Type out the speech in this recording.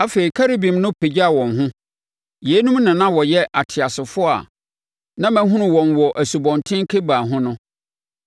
Afei, Kerubim no pagyaa wɔn ho. Yeinom na na wɔyɛ ateasefoɔ a na mahunu wɔn wɔ Asubɔnten Kebar ho no.